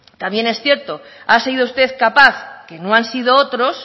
también es cierto ha sido usted capaz que no han sido otros